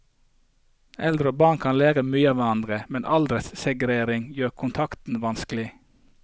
Eldre og barn kan lære mye av hverandre, men alderssegregering gjør kontakten vanskelig.